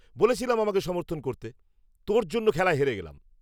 বলেছিলাম আমাকে সমর্থন করতে। তোর জন্য খেলায় হেরে গেলাম।